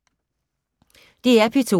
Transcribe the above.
DR P2